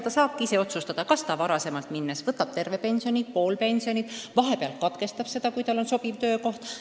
Ka saab ta ise otsustada, kas ta varem vanaduspuhkusele minnes võtab terve pensioni või pool pensioni või vahepeal katkestab selle võtmise, kui tal on sobiv töökoht.